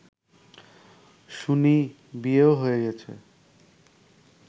শুনি বিয়েও হয়ে গেছে